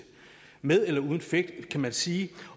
med eller uden effekt kan man sige